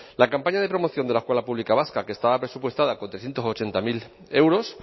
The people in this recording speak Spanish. la campaña de promoción de la escuela pública vasca que estaba presupuestada con trescientos ochenta mil euros